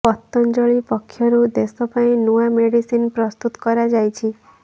ପତଞ୍ଜଳି ପକ୍ଷରୁ ଦେଶ ପାଇଁ ନୂଆ ମେଡିସିନ୍ ପ୍ରସ୍ତୁତ କରାଯାଇଛି